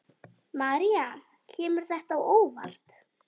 María: Kemur þetta á óvart?